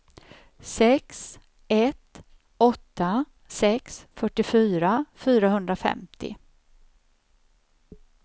sex ett åtta sex fyrtiofyra fyrahundrafemtio